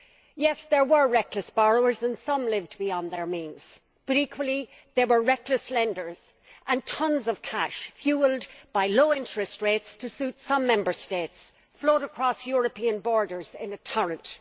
Yes, there were reckless borrowers and some lived beyond their means, but equally, there were reckless lenders and tons of cash fuelled by low interest rates to suit some Member States flowed across European borders in a torrent.